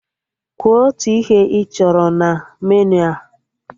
Kwuo otu ihe ị chọrọ na meniu a!